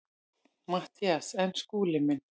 MATTHÍAS: En Skúli minn.